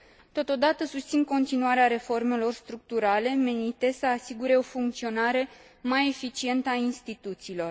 Totodată, susțin continuarea reformelor structurale, menite să asigure o funcționare mai eficientă a instituțiilor.